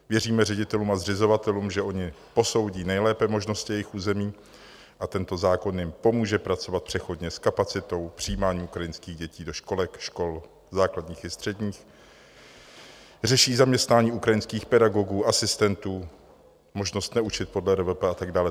Věříme ředitelům a zřizovatelům, že oni posoudí nejlépe možnosti jejich území, a tento zákon jim pomůže pracovat přechodně s kapacitou přijímání ukrajinských dětí do školek, škol základních i středních, řeší zaměstnání ukrajinských pedagogů, asistentů, možnost neučit podle RVP a tak dále.